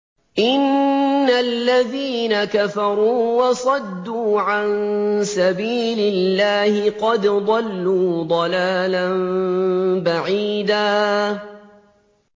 إِنَّ الَّذِينَ كَفَرُوا وَصَدُّوا عَن سَبِيلِ اللَّهِ قَدْ ضَلُّوا ضَلَالًا بَعِيدًا